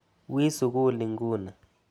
Wi sukul inguni.